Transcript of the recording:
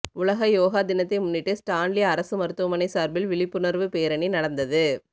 உலக யோகா தினத்தை முன்னிட்டு ஸ்டான்லி அரசு மருத்துவமனை சார்பில் விழிப்புணர்வு பேரணி நடந்தது